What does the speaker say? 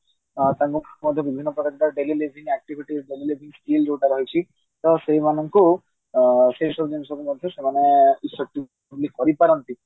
ତାଙ୍କ ନିଭିନ୍ନ ପ୍ରକାର ମଧ୍ୟ daily living activity skill ଯୋଉ ଟା ରହିଛି ତ ସେଇ ମାନଙ୍କୁ ସେଇ ସବୁ ଜିନିଷକୁ ମଧ୍ୟ ସେମାନେ ସେତିକି କରି ପାରନ୍ତି